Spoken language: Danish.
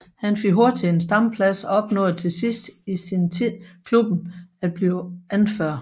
Han fik hurtigt en stamplads og opnåede til sidst i sin tid i klubben at blive anfører